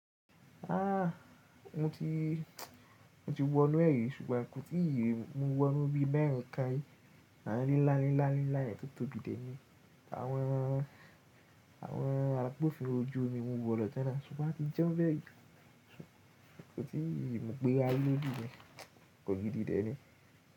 Ah! Mo ti, mo ti wọ inú e ri ṣùgbọ́n kò tíì yé. Mo wọ inú bí mẹ́rin kári awon nla nla yen tó tóbi de ni. Àwọn, àwọn agbofinro ojú omi mú u wọ lọ tẹ́na ṣùgbọ́n a ti jẹ́ ọ́n bẹ́rẹ́. Kò tíì yé, mo gbé a lóbi bẹ́ẹ̀. Kò gidi tẹ́ni.